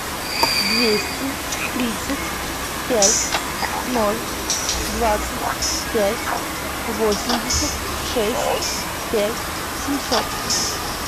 двести тридцать пять ноль двадцать пять восемьдесят шесть пять семьсот